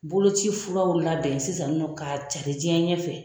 Boloci furaw labɛn sisan nin nɔn ka cari diɲɛ ɲɛfɛ